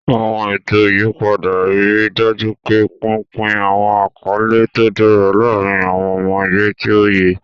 Àwọn ètò ìyípadà ń rí i dájú pé pínpín àwọn àkọlé tó dára láàárín àwọn ọmọ ẹgbẹ́ tí ó yẹ.